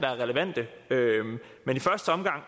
relevante men i første omgang